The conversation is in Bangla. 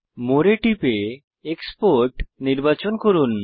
মোরে এ টিপে এক্সপোর্ট নির্বাচন করুন